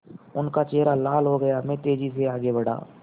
उनका चेहरा लाल हो गया मैं तेज़ी से आगे बढ़ा